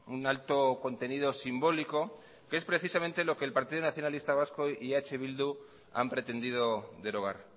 un alto contenido simbólico que es precisamente lo que el partido nacionalista vasco y eh bildu han pretendido derogar